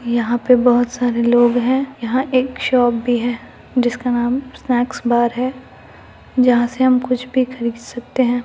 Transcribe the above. यहां पे बहुत सारे लोग हैं यहां एक शॉप भी है जिसका नाम स्नैकस बर है जहां से हम कुछ भी खरीद सकते हैं ।